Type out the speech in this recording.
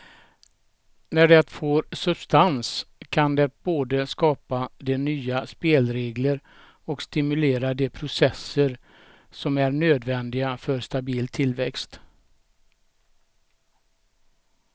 När det får substans kan det både skapa de nya spelregler och stimulera de processer som är nödvändiga för stabil tillväxt.